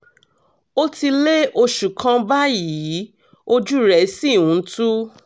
ó ti lé oṣù kan báyìí ojú rẹ̀ sì ń tú